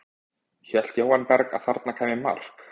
Hélt Jóhann Berg að þarna kæmi mark?